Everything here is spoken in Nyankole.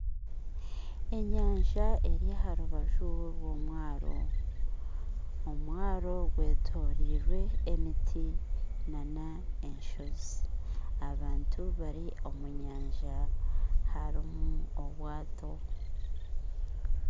Enyanja eri aharubaju rw'omwaro, omwaro gwetoroirwe emiti n'enshozi abantu bari omunyanja harumu obwato.